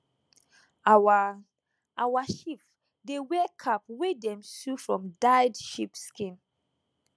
our our chief dey wear cap wey dem sew from dyed sheep skin